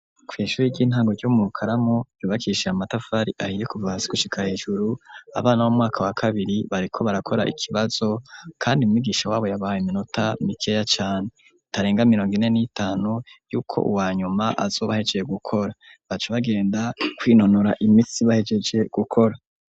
Kw'ishuri ry'intango ryo mu Karamu, ryubakishije amatafari ahiye kuva hasi kushika hejuru, abana b'umwaka wa kabiri bariko barakora ikibazo, kandi umwigisha wabo yabahaye iminota mikeya cane itarenga mirongo ine n'itanu, yuko uwa nyuma azoba ahejeje gukora, baca bagenda kwinonora imitsi bahejeje gukora.